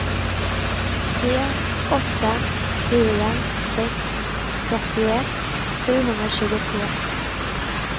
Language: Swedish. tre åtta fyra sex trettioett sjuhundratjugotre